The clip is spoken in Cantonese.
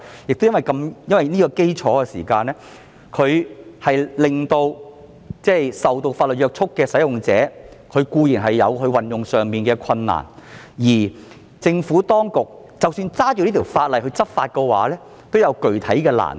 正正因為這個原因，固然令受法律約束的使用者有運作上的困難，而當局根據這項法例在執法上也有具體的難度。